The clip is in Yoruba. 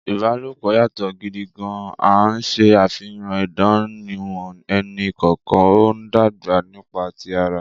Ìbálòpọ̀ yàtọ̀ gidi gan-an, ṣe àfihàn ìdánimọ̀ ẹnì kọ̀ọ̀kan, ó ń dàgbà nípa ti ara.